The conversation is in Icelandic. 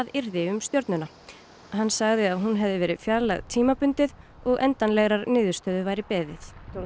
yrði um stjörnuna hann sagði að hún hefði verið fjarlægð tímabundið og endanlegrar niðurstöðu væri beðið